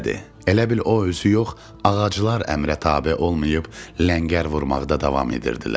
Elə bil o özü yox, ağaclar əmrə tabe olmayıb, ləngər vurmaqda davam edirdilər.